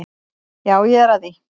Já, ég er að því.